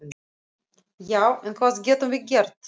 Já, en hvað getum við gert?